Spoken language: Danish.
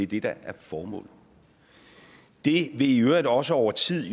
det der er formålet det vil i øvrigt også over tid